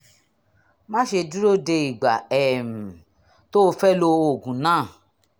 má ṣe dúró de ìgbà um tó o fẹ́ lo oògùn náà